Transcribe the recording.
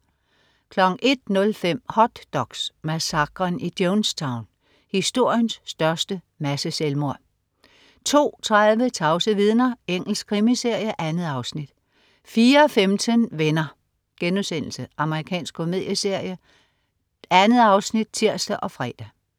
01.05 Hot doks: Massakren i Jonestown. Historiens største masseselvmord 02.30 Tavse vidner. Engelsk krimiserie. 2 afsnit 04.15 Venner.* Amerikansk komedieserie. 2 afsnit (tirs og fre)